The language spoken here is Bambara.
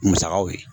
Musakaw ye